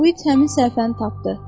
Uit həmin səhifəni tapdı.